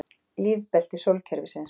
Lífbelti sólkerfisins.